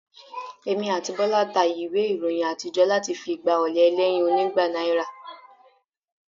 Èmi àti Bọ́lá ta ìwé ìròyìn àtijọ́ láti fi gba ọ̀ọ̀lẹ̀ ẹlẹ́yin onígba náírà